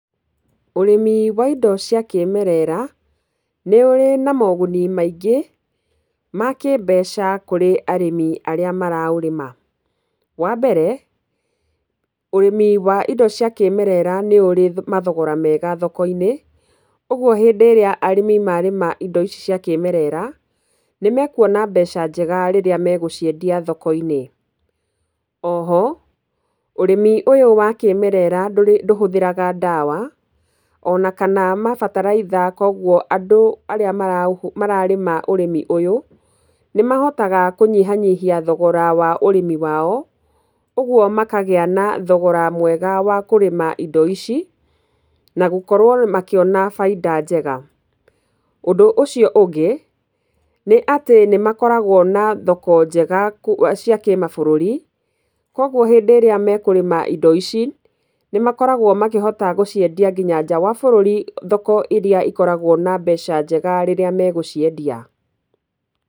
Ũrĩmi wa indo cia kĩĩmerera nĩ ũrĩ moguni maingĩ ma kĩmbeca kũrĩ arĩmi arĩa maraũrĩma. Wa mbere ũrĩmi wa indo cia kĩĩmerera nĩ ũrĩ mathogora mwega thoko-inĩ. Ũguo rĩrĩa arĩmi marĩma indo ici cia kĩĩmerera nĩ mekuona mbeca njega rĩrĩa megũciendia thoko-inĩ. O ho ũrĩmi ũyũ wa kĩĩmerera ndũhũthĩraga ndawa ona kana mabataraitha kwoguo andũ arĩa mararĩma ũrĩmi ũyũ, nĩ mahotaga kũnyihanyihia thogora wa ũrĩmi wao, ũguo makagĩa na thogora mwega wa kũrĩma indo ici na gũkorwo makĩona baita njega. Ũndũ ũcio ũngĩ nĩ atĩ nĩ makoragwo na thoko njega cia kĩmabũrũri. Kwoguo hĩndĩ ĩrĩa mekũrĩma indo ici nĩ makoragwo makĩhota gũciendia nginya nja wa bũrũri thoko irĩa ikoragwo na mbeca njega rĩrĩa megũciendia.